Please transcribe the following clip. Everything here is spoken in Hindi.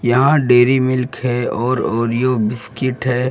यहाँ डेरी मिल्क है और ओरिओ बिस्कुट है |